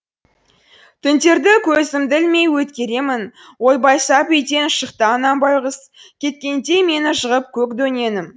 түндерді көзімді ілмей өткеремін ойбай сап үйден шықты анам байғұс кеткенде мені жығып көк дөненім